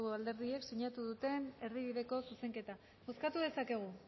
alderdiek sinatu duten erdibideko zuzenketa bozkatu dezakegu